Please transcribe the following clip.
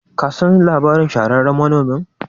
kasan labarin shahararren manonmin?